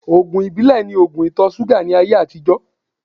Ògùn ìbílẹ̀ ni ògùn ìtọ-súgà ní ayé àtijọ́